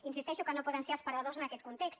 insisteixo que no poden ser els perdedors en aquest context